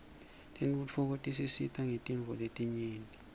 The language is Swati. tentfutfuko tisisita ngetintfo letinyenti